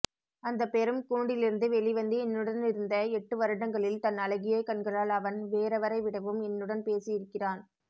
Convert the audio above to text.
அந்த பெரும் கூண்டிலிருந்து வெளிவந்து என்னுடனிருந்த எட்டு வருடங்களில் தன் அழகிய கண்களால் அவன் வேறெவரைவிடவும் என்னுடன் பேசியிருக்கிறான்